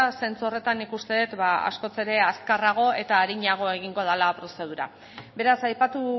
zentzu horretan nik uste dut askoz azkarrago eta arinago egingo dela prozedura beraz aipatu